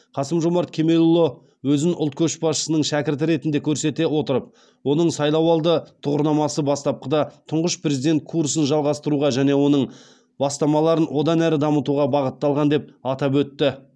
қасым жомарт кемелұлы өзін ұлт көшбасшысының шәкірті ретінде көрсете отырып оның сайлауалды тұғырнамасы бастапқыда тұңғыш президент курсын жалғастыруға және оның бастамаларын одан әрі дамытуға бағытталған деп атап өтті